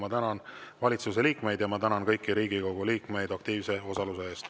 Ma tänan valitsuse liikmeid ja ma tänan kõiki Riigikogu liikmeid aktiivse osaluse eest.